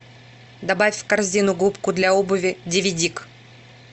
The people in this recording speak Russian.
добавь в корзину губку для обуви дивидик